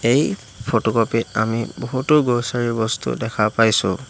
এই ফটোকপিট আমি বহুতো গ্ৰচাৰি বস্তু দেখা পাইছোঁ।